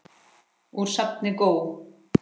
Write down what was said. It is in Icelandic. Úr safni GÓ.